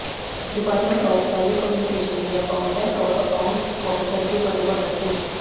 department of telecommunication में accountant और accounts officer के पदों पर भर्ती